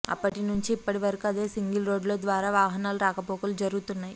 అప్పటి నుంచి ఇప్పటివరకు అదే సింగిల్రోడ్డు ద్వారా వాహనాలు రాకపోకలు జరుగుతున్నాయి